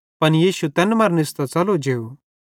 पन यीशु तैन मरां निस्तां च़लो जेव